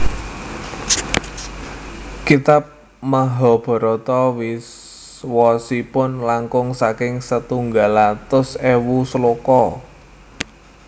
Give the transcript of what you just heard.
Kitab Mahabharata wosipun langkung saking setunggal atus ewu sloka